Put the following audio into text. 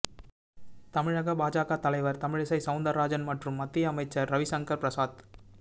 தமிழக பாஜக தலைவர் தமிழிசை சௌந்தரராஜன் மற்றும் மத்திய அமைச்சர் ரவிசங்கர் பிரசாத்